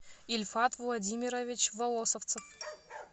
ильфат владимирович волосевцев